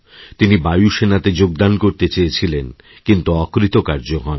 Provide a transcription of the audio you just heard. তিনি বায়ুসেনাতে যোগদান করতে চেয়েছিলেনকিন্তু অকৃতকার্য হন